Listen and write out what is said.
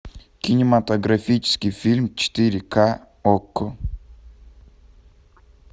кинематографический фильм четыре ка окко